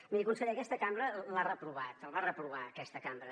miri conseller aquesta cambra l’ha reprovat el va reprovar aquesta cambra